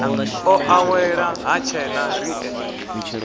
o awela ha tshena riṋe